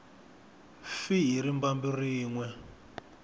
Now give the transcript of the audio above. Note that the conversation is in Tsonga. fi hi rimbambu rin we